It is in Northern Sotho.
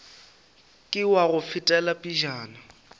ke wa go fetela pejana